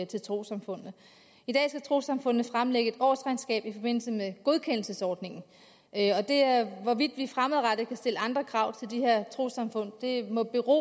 til trossamfundene i dag skal trossamfundene fremlægge et årsregnskab i forbindelse med godkendelsesordningen hvorvidt vi fremadrettet kan stille andre krav til de her trossamfund må bero